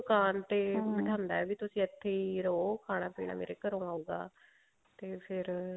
ਦੁਕਾਨ ਤੇ ਬਿਠਾਉਂਦਾ ਤੁਸੀਂ ਇੱਥੇ ਰਹੋ ਖਾਣਾ ਪੀਣਾ ਮੇਰੇ ਘਰੋਂ ਆਉਗਾ ਤੇ ਫ਼ੇਰ